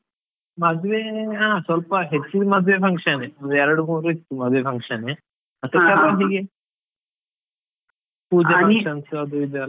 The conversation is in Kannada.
ಮದ್ವೆ ಹಾ ಸ್ವಲ್ಪ, ಹೆಚ್ಚಿನ್ ಮದ್ವೆ function ಯೆ ಒಂದ್ ಎರ್ಡು ಮೂರು ಇತ್ತು ಮದ್ವೆ function ಯೆ ಮತ್ತೆ ಪೂಜೆ functions ಅದು ಇದು ಎಲ್ಲಾ.